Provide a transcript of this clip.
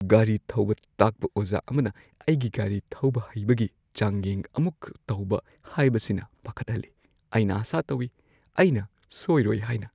ꯒꯥꯔꯤ ꯊꯧꯕ ꯇꯥꯛꯄ ꯑꯣꯖꯥ ꯑꯃꯅ ꯑꯩꯒꯤ ꯒꯥꯔꯤ ꯊꯧꯕ ꯍꯩꯕꯒꯤ ꯆꯥꯡꯌꯦꯡ ꯑꯃꯨꯛ ꯇꯧꯕ ꯍꯥꯏꯕꯁꯤꯅ ꯄꯥꯈꯠꯍꯜꯂꯤ꯫ ꯑꯩꯅ ꯑꯥꯁꯥ ꯇꯧꯏ ꯑꯩꯅ ꯁꯣꯢꯔꯣꯢ ꯍꯥꯢꯅ꯫